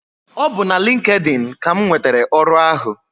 Ọ bu na LinkedIn ka m nwetara ọrụ ahụ.